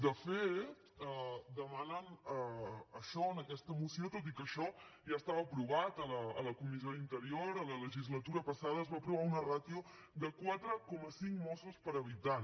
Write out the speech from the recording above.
de fet demanen això en aquesta moció tot i que això ja estava aprovat a la comissió d’interior a la legislatura passada es va aprovar una ràtio de quatre coma cinc mossos per habitant